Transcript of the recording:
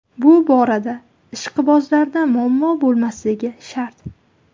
Bu borada ishqibozlarda muammo bo‘lmasligi shart.